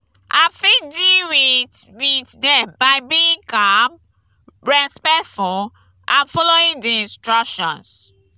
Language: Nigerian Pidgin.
i fit deal with with dem by being calm respectful and following di instructions.